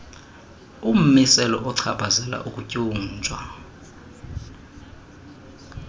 ummiselo ochaphazela ukutyunjwa